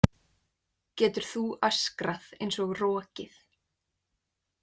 Getur þú öskrað eins og rokið?